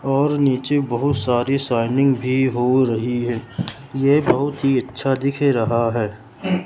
और नीचे बहुत सारी शाइनिंग भी हो रही है ये बहुत ही अच्छा दिख रहा है।